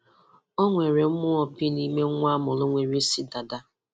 Ọ nwere mmụọ bi n’ime nwa a mụrụ nwere isi dàdà.